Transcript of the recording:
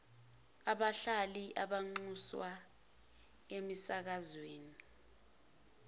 abahlali banxuswa emisakazweni